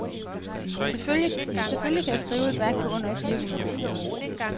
Selvfølgelig kan jeg skrive et værk på under fire hundrede sider.